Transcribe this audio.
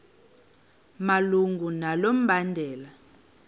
malunga nalo mbandela